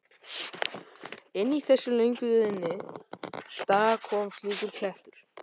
Inn í þessa löngu liðnu daga kom slíkur klettur.